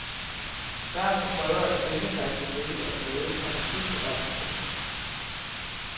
Børnene prøver at synge sig til lykke og glæde og måske berømmelse.